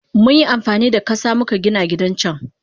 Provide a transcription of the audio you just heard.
Munyi amfanida kasa muka Gina gidan can.